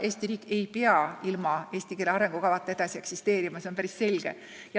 Eesti riik ei pea ilma eesti keele arengukavata edasi eksisteerima, see on päris selge.